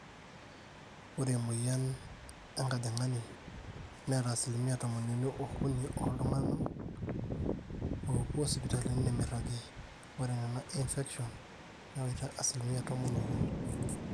ore emueyian enkajang'ani neeta asilimia tomoniuni ookuni ooltung'anak oopuo sipitali nemeiragi, ore nena e infections newaita asilimia tomon ookuni